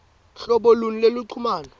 hlobo luni lweluchumano